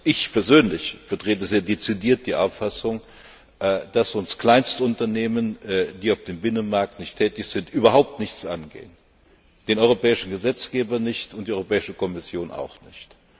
Ich persönlich vertrete sehr dezidiert die Auffassung, dass uns Kleinstunternehmen, die auf dem Binnenmarkt nicht tätig sind, überhaupt nichts angehen den europäischen Gesetzgeber nicht und die Europäische Kommission auch nicht.